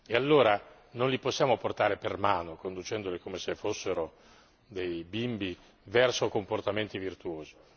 E allora non li possiamo portare per mano, conducendoli come se fossero dei bimbi, verso comportamenti virtuosi.